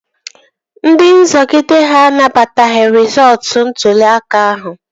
Ndị nzọgide ha anabataghị rịzọọtu ntụli aka ahụ